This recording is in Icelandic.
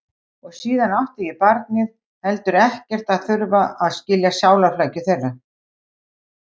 Og síðan átti ég, barnið, heldur ekkert að þurfa að skilja sálarflækjur þeirra.